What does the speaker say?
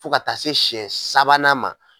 Fo ka taa se siɲɛ sabanan ma.